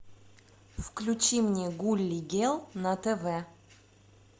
включи мне гулли гел на тв